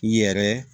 I yɛrɛ